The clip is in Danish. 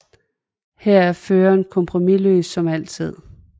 Her er Føreren kompromisløs som altid